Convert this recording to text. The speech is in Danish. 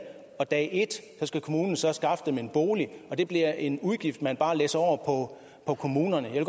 fra dag et skal kommunen så skaffe dem en bolig og det bliver en udgift man bare læsser over på kommunerne jeg